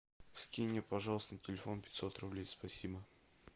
скинь мне пожалуйста на телефон пятьсот рублей спасибо